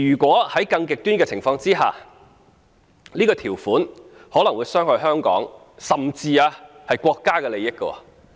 在更極端的情況下，這項條款可能會傷害香港，甚至國家的利益。